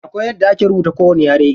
Akwai yadda ake rubuta kowani yare.